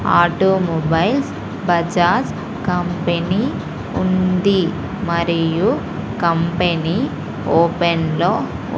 automobiles Bajaj company ఉంది మరియు company open లో--